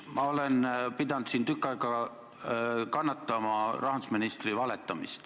Ma olen pidanud siin tükk aega kannatama rahandusministri valetamist.